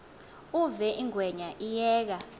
uve ingwenya iyeka